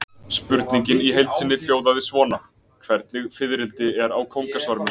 Spurningin í heild sinni hljóðaði svona: Hvernig fiðrildi er kóngasvarmi?